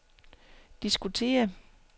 diskutere